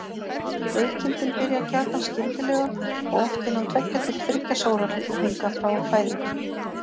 Veikindin byrja gjarnan skyndilega og oft innan tveggja til þriggja sólarhringa frá fæðingu.